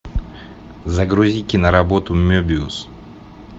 загрузи киноработу мебиус